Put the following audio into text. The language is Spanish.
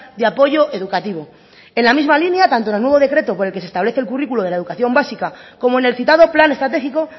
de apoyo educativo en la misma línea tanto en el nuevo decreto por el que se establece el currículo de la educación básica como en el citado plan estratégico